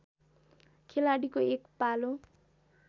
खेलाडीको एक पालो